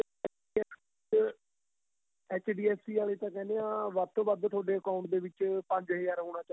H D F C ਆਲੇ ਤਾਂ ਕਹਿੰਦੇ ਹਾਂ ਵੱਧ ਤੋ ਵੱਧ ਤੁਹਾਡੇ account ਦੇ ਵਿੱਚ ਪੰਜ ਹਜ਼ਾਰ ਹੋਣਾ ਚਾਹੀਦਾ ਏ